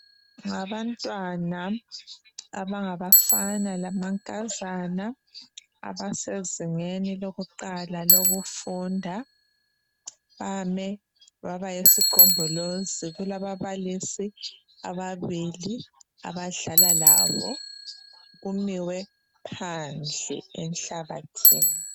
Ngabantwana abangabafana lamankazana abasezingeni lokuqala lokufunda bame babayisigombolozi kulababalisi ababili abadlala labo kumiwe phandle enhlabathini.